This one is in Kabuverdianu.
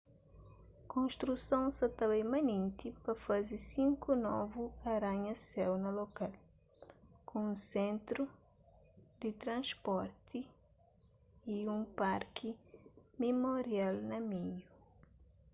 konstruson sa ta bai manenti pa faze sinku novu aranha-séu na lokal ku un sentru di transporti y un parki mimorial na meiu